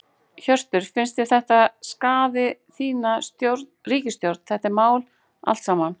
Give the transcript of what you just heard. Hjörtur: Finnst þér að þetta skaði þína ríkisstjórn, þetta mál allt saman?